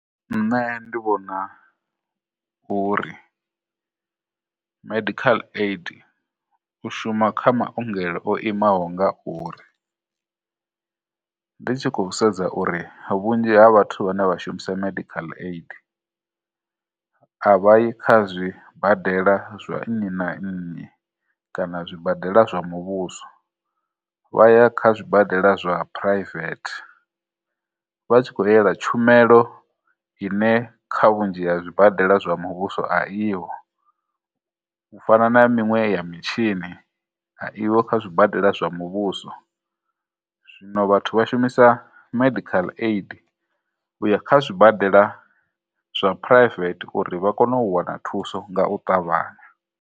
Nṋe ndi vhona uri medical aid u shuma kha maongelo o imaho nga uri, ndi tshi khou sedza uri vhunzhi ha vhathu vhane vha shumisa medical aid a vha yi kha zwibadela zwa nnyi na nnyi kana zwibadela zwa muvhuso, vha ya kha zwibadela zwa private vha tshi khou yela tshumelo ine kha vhunzhi ha zwibadela zwa muvhuso a i ho, u fana na miṅwe ya mitshini a i ho kha zwibadela zwa muvhuso, zwino vhathu vha shumisa medical aid u ya kha zwibadela zwa private uri vha kone u wana thuso nga u ṱavhanya.